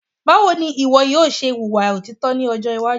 Báwo ní ìwọ yóò ṣe wùwà òtítọ́ ní ọjọ́ iwájú